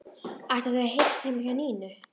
Ætla þau að hittast heima hjá Nínu?